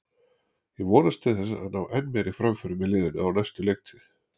Ég vonast til þess að ná enn meiri framförum með liðinu á næstu leiktíð.